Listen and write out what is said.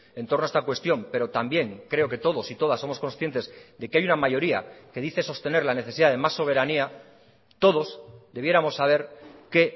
entorno a esta cuestión pero también creo que todos y todas somos conscientes de que hay una mayoría que dice sostener la necesidad de más soberanía todos debiéramos saber que